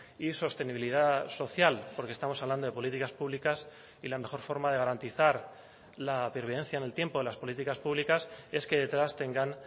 y sostenibilidad social porque estamos hablando de políticas públicas y la mejor forma de garantizar la pervivencia en el tiempo de las políticas públicas es que detrás tengan